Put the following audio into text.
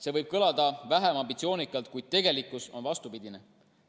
See võib kõlada väheambitsioonikalt, kuid tegelikkus on vastupidine.